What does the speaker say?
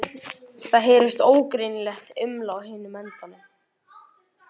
Það heyrist ógreinilegt uml á hinum endanum.